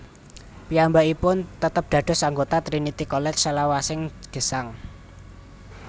Piyambakipun tetep dados anggota Trinity College salawasing gesang